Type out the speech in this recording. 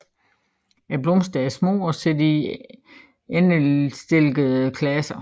Blomsterne er små og sidder i endestillede klaser